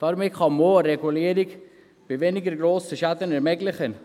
Damit kann man auch eine Regulierung bei weniger grossen Schäden ermöglichen.